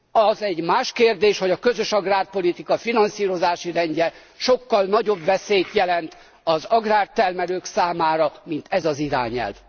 Az egy más kérdés, hogy a közös agrárpolitika finanszírozási rendje sokkal nagyobb veszélyt jelent az agrártermelők számára, mint ez az irányelv.